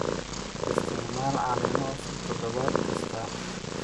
Isticmaal caleemo cusub toddobaad kasta.